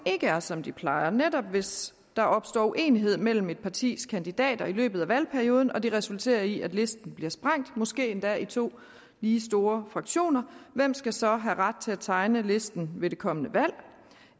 er som det plejer netop hvis der opstår uenighed mellem et partis kandidater i løbet af valgperioden og det resulterer i at listen bliver sprængt måske endda i to lige store fraktioner hvem skal så have ret til at tegne listen ved det kommende valg